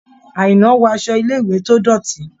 Àìná wọ aṣọ ilé-ìwé tó dọ̀tí.